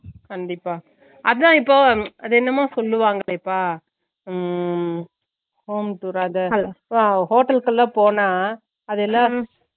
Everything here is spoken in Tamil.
கண்டிப்பா அதன்இப்போ அது என்னமோ சொல்லுவாங்கலே பா உம் hometour அ hotels ல போனா அது